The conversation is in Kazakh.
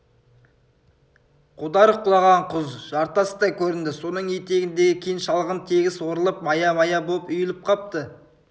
қодар құлаған құз жартас та көрінді соның етегіндегі кең шалғын тегіс орылып мая-мая боп үйіліп қапты